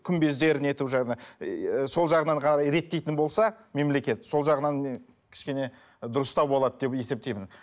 күмбездер не етіп жаңа ыыы сол жағынан ғана реттейтін болса мемлекет сол жағынан кішкене дұрыстау болады деп есетпеймін